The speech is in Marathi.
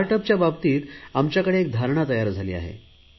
स्टार्ट अपच्या बाबतीत आमच्याकडे एक धारणा तयार झाली आहे